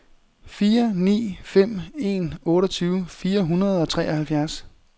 fire ni fem en otteogtyve fire hundrede og treoghalvfjerds